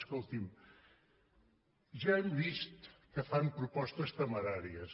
escolti’m ja hem vist que fan propostes temeràries